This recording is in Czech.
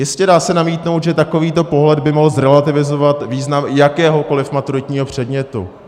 Jistě, dá se namítnout, že takovýto pohled by mohl zrelativizovat význam jakéhokoliv maturitního předmětu.